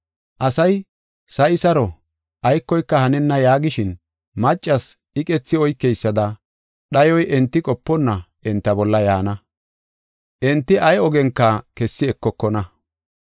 Asay, “Sa7i saro, aykoyka hanenna” yaagishin, maccas iqethi oykeysada dhayoy enti qoponna enta bolla yaana. Enti ay ogenka kessi ekokona.